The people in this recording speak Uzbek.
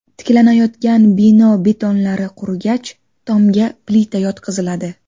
Tiklanayotgan bino betonlari qurigach, tomga plita yotqiziladi.